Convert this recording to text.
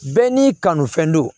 Bɛɛ n'i kanufɛn don